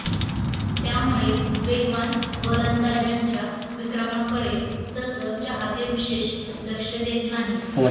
त्यामुळे वेगवान गोलंदाजांच्या विक्रमांकडे तसं चाहते विशेष लक्ष देत नाहीत